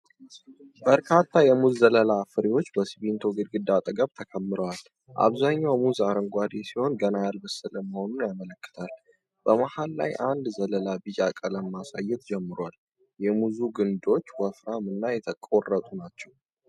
በርካታ የሙዝ ዘለላዎች (ፍሬዎች) በሲሚንቶ ግድግዳ አጠገብ ተከምረዋል። አብዛኛው ሙዝ አረንጓዴ ሲሆን፣ ገና ያልበሰለ መሆኑን ያመለክታል። በመሃል ላይ አንድ ዘለላ ቢጫ ቀለም ማሳየት ጀምሯል። የሙዙ ግንዶች ወፍራም እና የተቆረጡ ናቸው።